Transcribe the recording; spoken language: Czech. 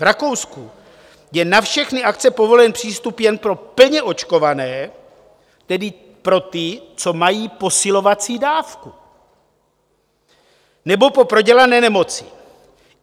V Rakousku je na všechny akce povolen přístup jen pro plně očkované, tedy pro ty, co mají posilovací dávku, nebo po prodělané nemoci.